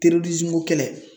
ko kɛlɛ